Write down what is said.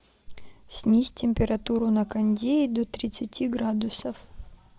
снизь температуру на кондее до тридцати градусов